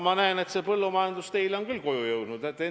Ma näen, et teile on küll põllumajandus koju jõudnud!